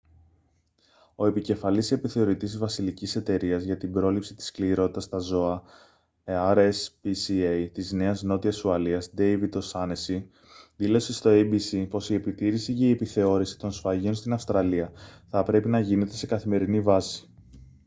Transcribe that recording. ο επικεφαλής επιθεωρητής της βασιλικής εταιρείας για την πρόληψη της σκληρότητας στα ζώα rspca της νέας νότιας ουαλίας ντέιβιντ ο' σάνεσσι δήλωσε στο abc πως η επιτήρηση και η επιθεώρηση των σφαγείων στην αυστραλία θα πρέπει να γίνεται σε καθημερινή βάση